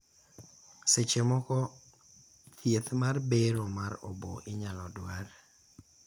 seche moko, thieth mar bero mar obo inyal dwar